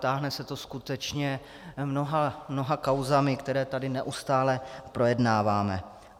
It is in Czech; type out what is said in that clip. Táhne se to skutečně mnoha kauzami, které tady neustálé projednáváme.